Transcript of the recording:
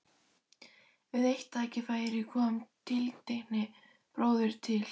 Við eitt tækifæri kom tiltekinn bróðir til